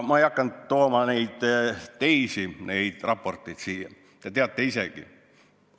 Ma ei hakanud neid teisi raporteid siia kaasa tooma, te teate isegi.